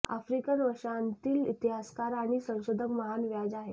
African वंशातील इतिहासकार आणि संशोधक महान व्याज आहेत